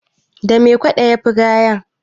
da me kwado ya Fi gaya